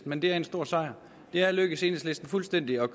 men det er en stor sejr det er lykkedes enhedslisten fuldstændig at